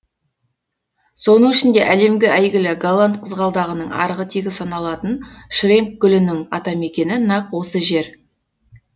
соның ішінде әлемге әйгілі голланд қызғалдағының арғы тегі саналатын шренк гүлінің атамекені нақ осы жер